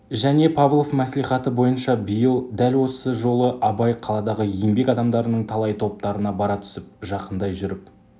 және павлов мәслихаты бойынша биыл дәл осы жолы абай қаладағы еңбек адамдарының талай топтарына бара түсіп жақындай жүріп